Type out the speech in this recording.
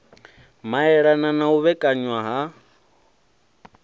maelana na u vhekanywa ha